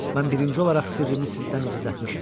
Mən birinci olaraq sirrimi sizdən gizlətmişəm.